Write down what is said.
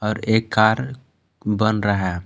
और एक कार बन रहा--